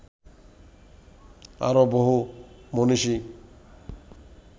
আরও বহু মনীষী